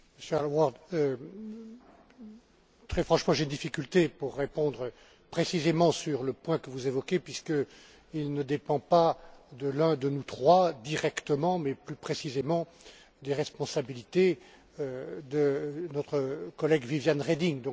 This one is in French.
M. Aylward, très franchement, il m'est difficile de répondre précisément sur le point que vous évoquez, puisqu'il ne dépend pas de l'un de nous trois directement mais qu'il relève plus précisément des responsabilités de notre collègue Viviane Reding.